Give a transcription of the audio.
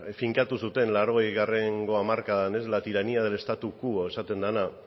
finkatu zuten laurogeigo hamarkadan ez la tiranía del status quo esaten dena